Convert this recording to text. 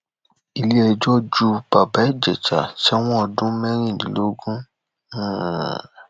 iléẹjọ ju bàbá ìjẹsà sẹwọn ọdún mẹrìndínlógún um